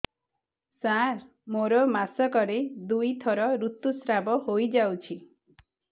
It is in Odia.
ସାର ମୋର ମାସକରେ ଦୁଇଥର ଋତୁସ୍ରାବ ହୋଇଯାଉଛି